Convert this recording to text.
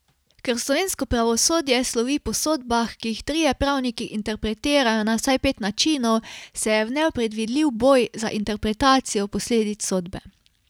Ker slovensko pravosodje slovi po sodbah, ki jih trije pravniki interpretirajo na vsaj pet načinov, se je vnel predvidljiv boj za interpretacijo posledic sodbe.